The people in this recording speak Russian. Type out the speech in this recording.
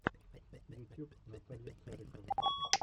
ютюб наталья царикова